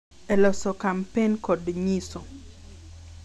E loso kampen kod nyiso